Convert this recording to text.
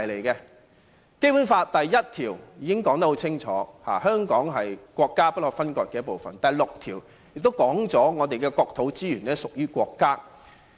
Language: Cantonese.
《基本法》第一條已清楚說明香港是國家不可分割的一部分；第六條也說明我們的國土資源屬於國家。